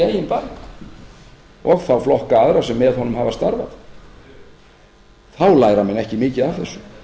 eigin barm og þá flokka aðra sem með honum hafa starfað þá læra menn ekki mikið þessu ef menn